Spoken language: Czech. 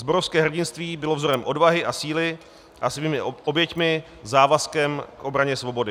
Zborovské hrdinství bylo vzorem odvahy a síly a svými oběťmi závazkem k obraně svobody.